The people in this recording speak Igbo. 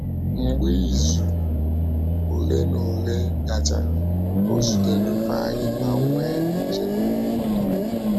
Mgbe izu ole ole na ole gachara, ọ zutere Ifeanyi ma nwee njem obi ụtọ.